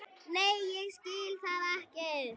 Nei ég skil það ekki.